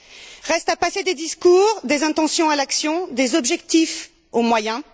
Il reste à passer des discours et des intentions à l'action, des objectifs aux moyens.